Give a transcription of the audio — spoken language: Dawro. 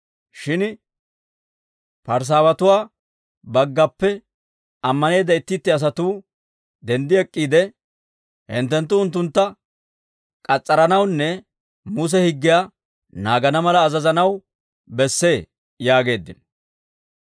Shin Parisaawatuwaa baggappe ammaneedda itti itti asatuu denddi ek'k'iide, «Hinttenttu unttuntta k'as's'aranawunne Muse higgiyaa naagana mala azazanaw bessee» yaageeddino.